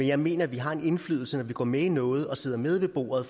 jeg mener at vi har en indflydelse når vi går med i noget og sidder med ved bordet